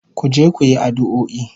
Ku je ku yi addu'o'i